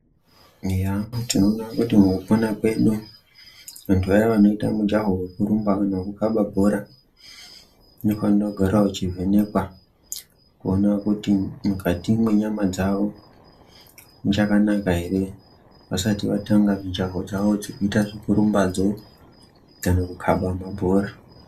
Eya tinoona kuti mukupona kwedu vantu vaya vanoita mujaho wekurumba kana wekukaba bhora vanofanira kugara vechi vhenekwa kuona kuti mukati mwenyama dzawo muchakanaka ere vasati vatanga mujaho dzavo dzekuita zvekutumba dzo kana kukaba ma bhora.